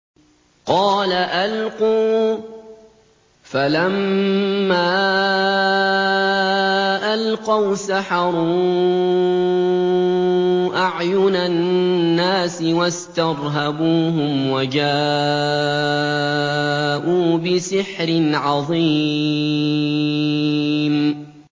قَالَ أَلْقُوا ۖ فَلَمَّا أَلْقَوْا سَحَرُوا أَعْيُنَ النَّاسِ وَاسْتَرْهَبُوهُمْ وَجَاءُوا بِسِحْرٍ عَظِيمٍ